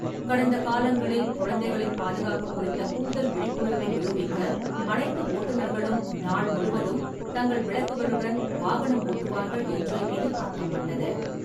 கடந்த காலங்களில், குழந்தைகளின் பாதுகாப்பு குறித்த கூடுதல் விழிப்புணர்வை நிரூபிக்க அனைத்து ஓட்டுநர்களும் நாள் முழுவதும் தங்கள் விளக்குகளுடன் வாகனம் ஓட்டுவார்கள் என்று எதிர்பார்க்கப்பட்டது.